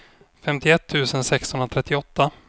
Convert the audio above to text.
femtioett tusen sexhundratrettioåtta